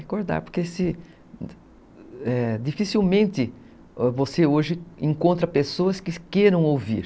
Recordar, porque se, dificilmente você hoje encontra pessoas que queiram ouvir.